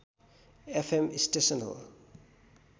FM station हो